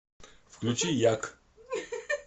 включи як